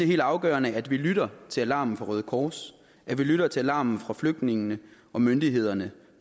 helt afgørende at vi lytter til alarmen fra røde kors at vi lytter til alarmen fra flygtningene og myndighederne